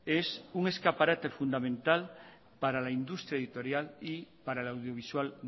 es que es un escaparate fundamental para la industria editorial y para la audiovisual